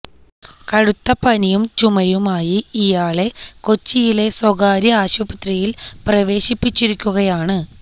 കടുത്ത പനിയും ചുമയുമായി ഇയാളെ കൊച്ചിയിലെ സ്വകാര്യ ആശുപത്രിയില് പ്രവേശിപ്പിച്ചിരിക്കുകയാണ്